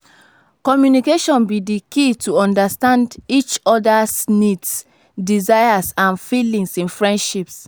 communication be di key to understand each oda's needs desires and feelings in friendships.